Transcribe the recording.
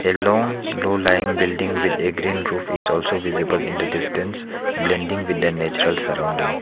a long low lying building with a green roof is also visible in the distance blending with the natural surrounding.